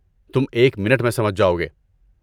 تم ایک منٹ میں سمجھ جاؤ گے۔